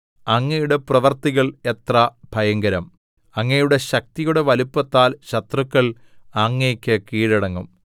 അങ്ങയുടെ പ്രവൃത്തികൾ എത്ര ഭയങ്കരം അങ്ങയുടെ ശക്തിയുടെ വലിപ്പത്താൽ ശത്രുക്കൾ അങ്ങേക്ക് കീഴടങ്ങും